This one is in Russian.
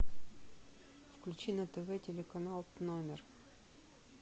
включи на тв телеканал номер